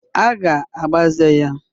A ga-agbaze ya.